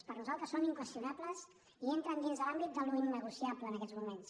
per nosaltres són inqüestionables i entren dins de l’àmbit de l’innegociable en aquests moments